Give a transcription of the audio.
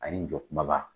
Ani n jɔ kumaba